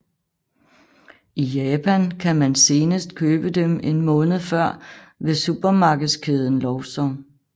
I Japan kan man senest købe dem en måned før ved supermarkedskæden Lawson